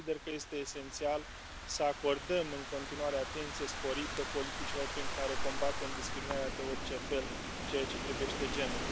Consider că este esențial să acordăm în continuare atenție sporită politicilor prin care combatem discriminarea de orice fel în ceea ce privește genul.